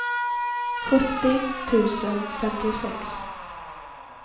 sjuttio tusen femtiosex